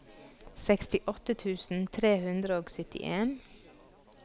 sekstiåtte tusen tre hundre og syttien